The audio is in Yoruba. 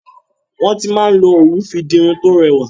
Wọn ti máa n lo òwu fi di irun to rẹwà.